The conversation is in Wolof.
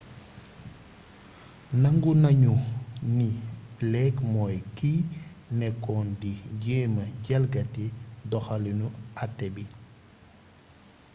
nangu nañu ni blake mooy kiy nekkoon di jéema jalgati doxaliinu até bi